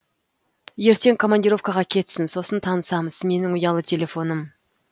ертең командировкаға кетсін сосын танысамыз менің ұялы телефоным